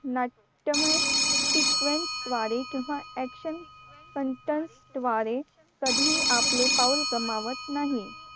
नाट्यमय sequence द्वारे किंवा action content द्वारे कधीही आपले पाऊल गमावत नाही